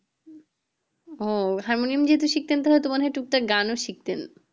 হুম harmonium যদি শিখতেন তবে তো টুক টাক গানও শিখতেন